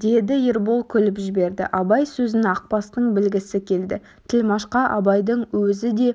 деді ербол күліп жіберді абай сөзін ақбастың білгісі келді тілмәшқа абайдың өзі де